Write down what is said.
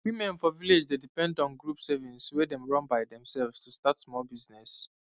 women for village dey depend on group saving wey dem run by themselves to start small business